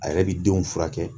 A yɛrɛ bi denw furakɛ